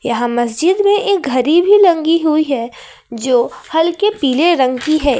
यहां मस्जिद में एक घड़ी भी लगी हुई है जो हल्के पीले रंग की है।